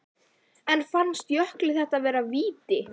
En fannst Jökli þetta vera víti?